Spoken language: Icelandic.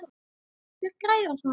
Hver græðir á svona leik?